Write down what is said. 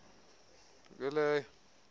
nto ke leyo